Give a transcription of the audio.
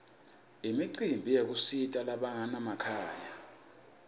imicimbi yekusita labanganamakhaya